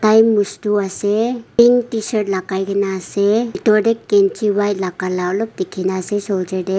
tai mustuh ase pink tshirt lakai kena ase pitor tey kenchi white laga la olop dikhi na ase soulger dey.